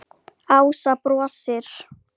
Ása brosir.